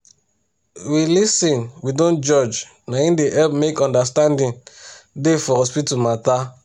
as we da respect ourself for hospital na so e good to respect um our country um people culture ma um